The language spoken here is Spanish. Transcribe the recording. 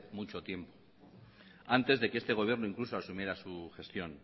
mucho tiempo antes de que este gobierno incluso asumiera su gestión